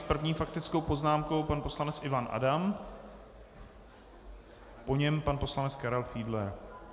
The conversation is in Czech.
S první faktickou poznámkou pan poslanec Ivan Adam, po něm pan poslanec Karel Fiedler.